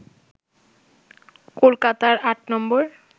কলকাতার ৮ নম্বর